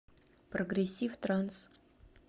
прогрессив транс